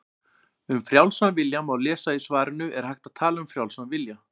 Um frjálsan vilja má lesa í svarinu Er hægt að tala um frjálsan vilja?